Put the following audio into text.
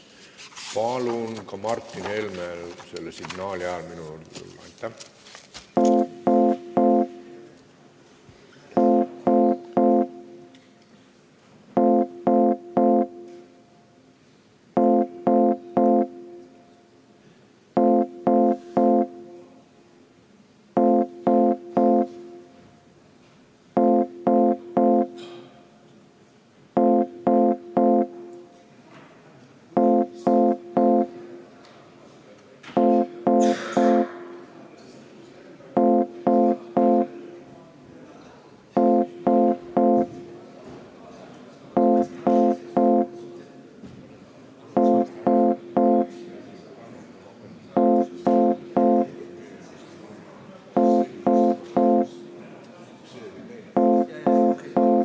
Palun Martin Helmel selle signaali ajal minu juurde tulla.